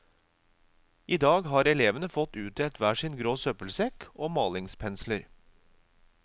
I dag har elevene fått utdelt hver sin grå søppelsekk og malingspensler.